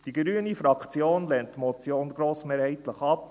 Die grüne Fraktion lehnt die Motion grossmehrheitlich ab.